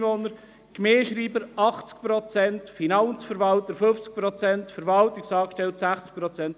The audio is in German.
Der Gemeindeschreiber hat eine 80-Prozent-Stelle, der Finanzverwalter eine 50-Prozent-Stelle, der Verwaltungsangestellte eine 60-Prozent-Stelle ...